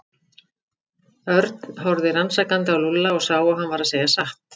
Örn horfði rannsakandi á Lúlla og sá að hann var að segja satt.